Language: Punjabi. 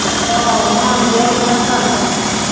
ਆਹੋ ਮਨ ਜਿਹਾ ਨੀ ਨਾ ਕਰਦਾ ਹਨਾ।